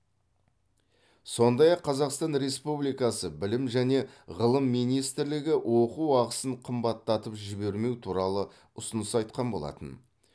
сондай ақ қазақстан республикасы білім және ғылым министрлігі оқу ақысын қымбаттатып жібермеу туралы ұсыныс айтқан болатын